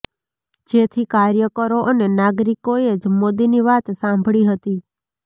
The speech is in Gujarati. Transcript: જેથી કાર્યકરો અને નાગરિકોએ જ મોદીની વાત સાંભળી હતી